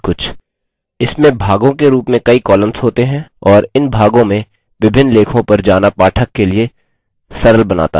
इसमें भागों के रूप में कईcolumns होते हैं और इन भागों में विभिन्न लेखों पर जाना पाठक के लिए सरल बनाता है